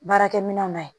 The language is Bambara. Baarakɛ minɛnw na